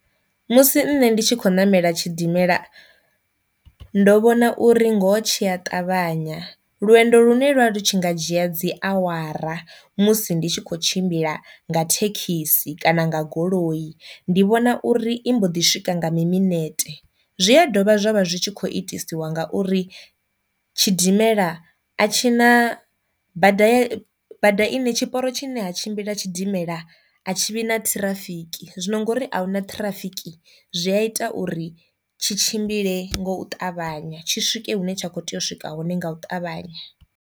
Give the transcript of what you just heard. Musi nṋe ndi tshi khou namela tshidimela ndo vhona uri ngoho tshiya ṱavhanya, lwendo lune lwa lu tshi nga dzhia dzi awara musi ndi tshi kho tshimbila nga thekhisi kana nga goloi ndi vhona uri i mbo ḓi swika nga mi minete, zwi a dovha zwavha zwi tshi kho itesiwa ngauri tshidimela a tshi na bada ya bada ine tshiporo tshi ne ha tshimbila tshidimela a tshivhi na ṱhirafiki, zwino ngori ahuna ṱhirafiki zwi a ita uri tshi tshimbile ngou ṱavhanya tshi swike hune tsha kho tea u swika hone nga u ṱavhanya.